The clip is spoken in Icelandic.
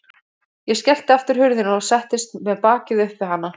Ég skellti aftur hurðinni og settist með bakið upp við hana.